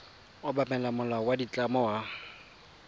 obamela molao wa ditlamo wa